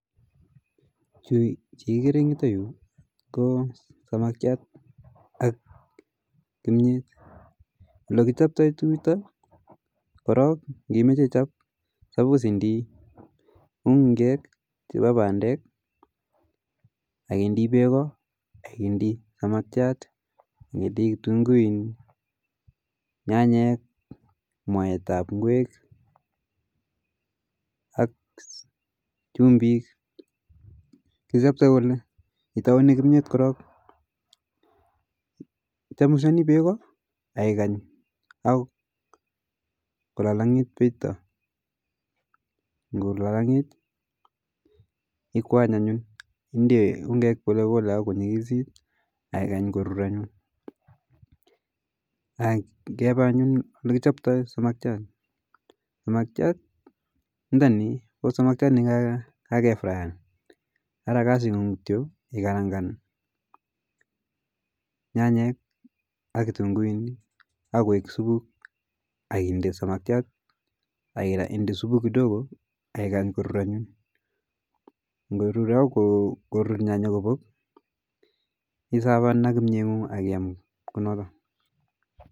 Chu chi ikereeng yu ko samakjat ak kimyet, oldo kichoptai tukuk chuta koro supos indii ungeek chepa pandek akindii peko akindiaa samakjat akindii kitunguinik nyanyek, mwaitap gwek ak chumbik ,kichoptoi kole itaune kimyet korok, ichamushani beko akikany ako kulalangit beko, ngolalangit ikwany anyun inde ungek ako konyikisit akikany korur anyun, ngepa anyun oldo kichaptoi samakjat, samakjat ntani ko samakjat ni kakefrayan ara kasi ng'u ikarangan nyanyek ak kitunguinik ako koek supuk akinde samakjat akinde supuk kidogo akikany korur anyun, ngorur ako kurur nyanyek isafan anyun ak kimyet